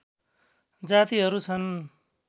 जातिहरू छन्